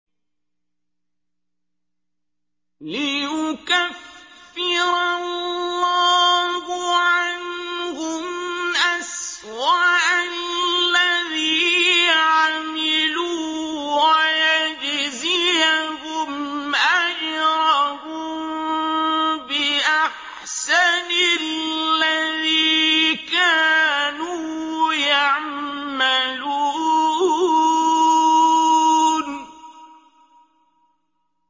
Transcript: لِيُكَفِّرَ اللَّهُ عَنْهُمْ أَسْوَأَ الَّذِي عَمِلُوا وَيَجْزِيَهُمْ أَجْرَهُم بِأَحْسَنِ الَّذِي كَانُوا يَعْمَلُونَ